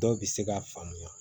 Dɔw bɛ se k'a faamuya